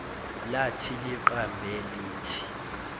lathi liqambe lithi